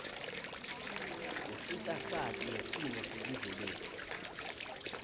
usita sati ngsimo selive letfu